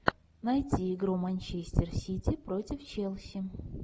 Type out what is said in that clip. найти игру манчестер сити против челси